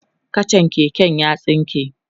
kachan keken ya tsinke